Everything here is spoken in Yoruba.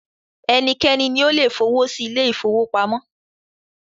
Ẹnikẹ́ni ni o le f'owọ sí ilé-ìfowópamọ́